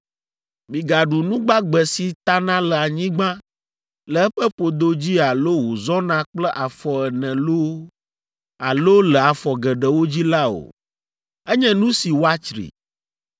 Migaɖu nu gbagbe si tana le anyigba le eƒe ƒodo dzi alo wòzɔna kple afɔ ene loo alo le afɔ geɖewo dzi la o. Enye nu si woatsri.